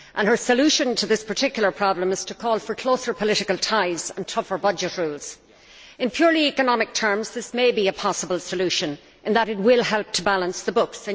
Her solution to this particular problem is to call for closer political ties and tougher budget rules. In purely economic terms, this may be a possible solution in that it will help to balance the books.